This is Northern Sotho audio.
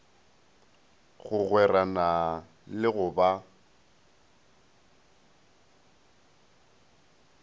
go gwerana le go ba